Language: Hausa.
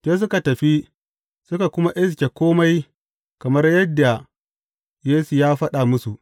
Sai suka tafi, suka kuma iske kome kamar yadda Yesu ya faɗa musu.